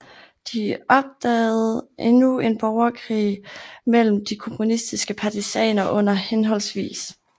De opdagede endnu en borgerkrig mellem de kommunistiske partisaner under hhv